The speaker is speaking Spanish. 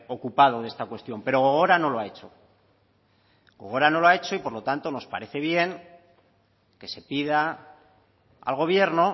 ocupado de esta cuestión pero gogora no lo ha hecho gogora no lo ha hecho y por lo tanto nos parece bien que se pida al gobierno